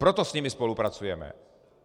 Proto s nimi spolupracujeme.